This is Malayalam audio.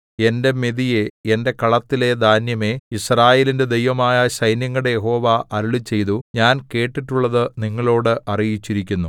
എന്റെ മെതിയേ എന്റെ കളത്തിലെ ധാന്യമേ യിസ്രായേലിന്റെ ദൈവമായ സൈന്യങ്ങളുടെ യഹോവ അരുളിച്ചെയ്തു ഞാൻ കേട്ടിട്ടുള്ളത് നിങ്ങളോട് അറിയിച്ചിരിക്കുന്നു